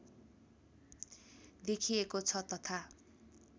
देखिएको छ तथा